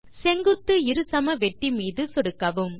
செங்குத்து இருசமவெட்டி மீது சொடுக்கவும்